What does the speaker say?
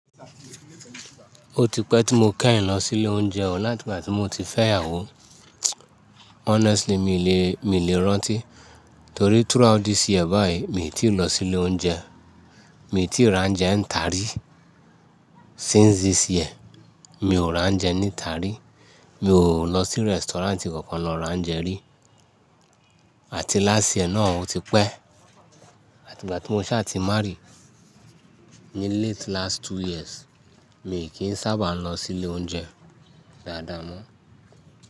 Ó ti pẹ́ tí mo kẹ́yìn lọ sí ilé oúnjẹ ọ, láti ìgbà tí mo ti fẹ́ ìyàwó. Honestly, mi lè, mi lè rántí torí throughout this year báyìí, mi ò tí ì lọ sí ilé oúnjẹ. Mi ò tíì ra oúnjẹ ń ta rí. Since this year, mi ò ra oúnjẹ níta rí. Mi ò lọ sí restaurant kankan lọ ra oúnjẹ rí. Àti láṣ yie náà ó ti pẹ́. Ìgbà tí mo ṣáà ti marry ni late last two years, mi kì í sábà lọ sí ilé oúnjẹ dáadáa mọ́.